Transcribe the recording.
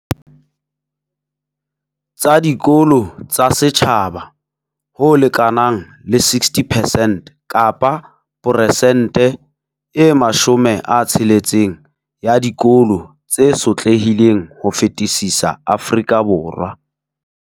Tsa dikolo tsa setjhaba, ho lekanang le 60 percent kapa peresente e 60 ya dikolo tse sotlehileng ho fetisisa Afrika Borwa.